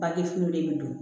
Bangefini de bɛ don